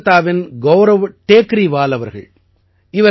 இவர் கோல்காதாவின் கௌரவ் டேகரீவால் அவர்கள்